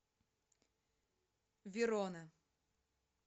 верона